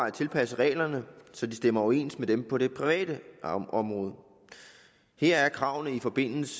at tilpasse reglerne så de stemmer overens med dem på det private område her er kravene i forbindelse